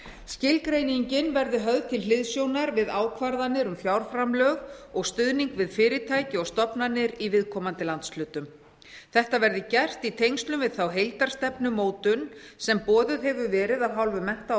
skilgreiningin verði höfð til hliðsjónar við ákvarðanir um fjárframlög og stuðning við fyrirtæki og stofnanir í viðkomandi landshlutum þetta verði gert í tengslum við þá heildarstefnumótun sem boðuð hefur verið af hálfu mennta og